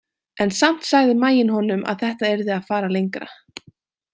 En samt sagði maginn honum að þetta yrði að fara lengra.